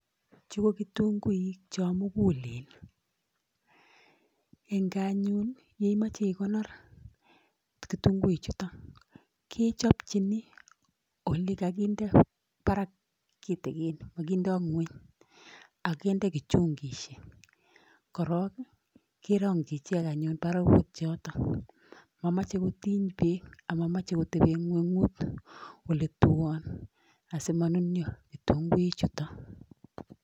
Chu ko kitunguik chomugulen. Eng gaa anyun yoimoche ikonor kitunguichuto kechopchin olekakinde barak kitikin, mokindoi ng'uny akinde kichungishek korok kerong'chi ichek anyun barakut yoto. Mamoche kotiny beek amamoche kotebe ng'weng'ut oletuon asimanunyo kitunguichuto.